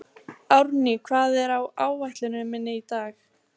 Árný, hvað er á áætluninni minni í dag?